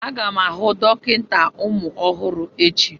Aga m ahụ dọkịta ụmụ ọhụrụ echi.